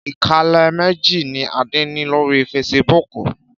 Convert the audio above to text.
Ìkànnlé méjì ní Adé ní lórí feṣibúkù.